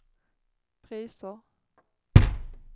priser